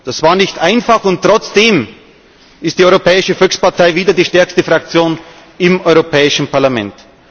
Das war nicht einfach, und trotzdem ist die Europäische Volkspartei wieder die stärkste Fraktion im Europäischen Parlament.